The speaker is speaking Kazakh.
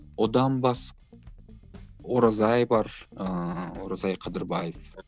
одан оразай бар ыыы оразай қыдырбаев